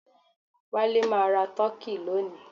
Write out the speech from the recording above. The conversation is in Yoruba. Wale máa ra turkey lónìí